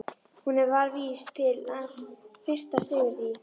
Hún var vís til þess að fyrtast yfir því.